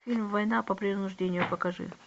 фильм война по принуждению покажи